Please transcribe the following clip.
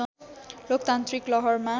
लोकतान्त्रिक लहरमा